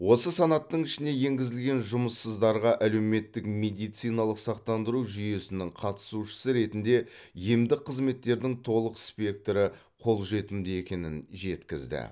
осы санаттың ішіне енгізілген жұмыссыздарға әлеуметтік медициналық сақтандыру жүйесінің қатысушысы ретінде емдік қызметтердің толық спектрі қолжетімді екенін жеткізді